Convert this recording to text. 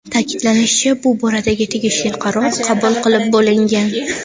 Ta’kidlanishicha, bu boradagi tegishli qaror qabul qilib bo‘lingan.